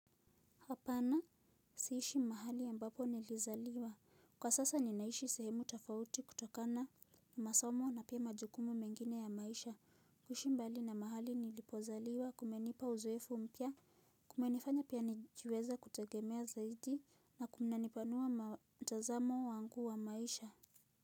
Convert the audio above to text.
Hapana siishi mahali ambapo nilizaliwa. Kwa sasa ninaishi sehemu tofauti kutokana na masomo na pia majukumu mengine ya maisha. Kushi mbali na mahali nilipozaliwa kumenipa uzoefu mpya. Kumenifanya pia nijiweze kutegemea zaidi na kunanipanua mtazamo wangu wa maisha.